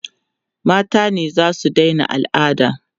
mata ne zasu Daina alada